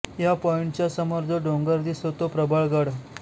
ह्या पॉईंटच्या समोर जो डोंगर दिसतो तो प्रबळगड